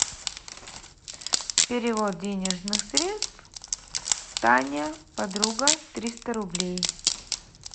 перевод денежных средств таня подруга триста рублей